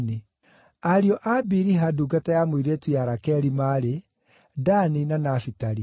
Ariũ a Biliha ndungata ya mũirĩtu ya Rakeli maarĩ: Dani na Nafitali.